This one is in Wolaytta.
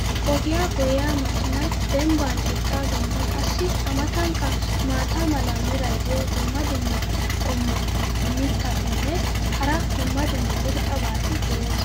Ogiya goyiya makiinay dembban eqaageenne qassi a matankka maata mala meray diyo dumma dumma qommo mitattinne hara dumma dumma irxxabati de'oosona.